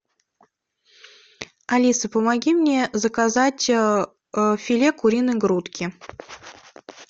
алиса помоги мне заказать филе куриной грудки